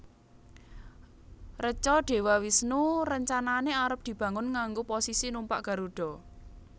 Reca Dewa Wisnu rencanane arep dibangun nganggo posisi numpak Garuda